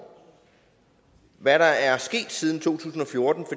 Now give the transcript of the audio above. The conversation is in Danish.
hvad der er sket siden to tusind og fjorten